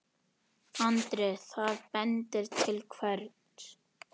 Andri: Það bendir til hvers?